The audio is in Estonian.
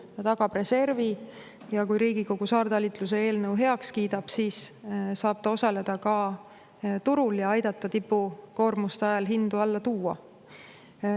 Ta tagab reservi ja kui Riigikogu saartalitluse eelnõu heaks kiidab, siis saab ta osaleda ka turul ja aidata tipukoormuste ajal hindu alla tuua.